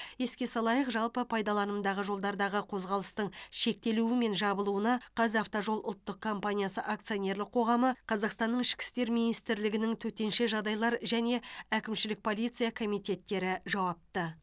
еске салайық жалпы пайдаланымдағы жолдардағы қозғалыстың шектелуі мен жабылуына қазавтожол ұлттық компаниясы акционерлік қоғамы қазақстанның ішкі істер министрлігінің төтенше жағдайлар және әкімшілік полиция комитеттері жауапты